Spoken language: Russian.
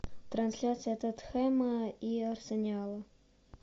трансляция тоттенхэма и арсенала